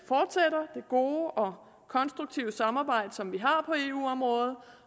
gode og konstruktive samarbejde som vi har på eu området